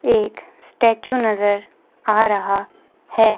एक स्टैचू नजर आ रहा है।